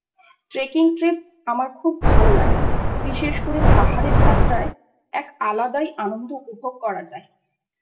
Trekking Trips আমার খুব ভালো লাগে৷ বিশেষ করে পাহাড়ে যাত্রায় এক আলাদাই আনন্দ উপভোগ করা যায়৷